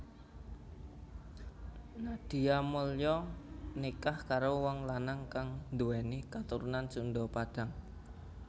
Nadia Mulya nikah karo wong lanang kang nduwèni katurunan Sunda Padang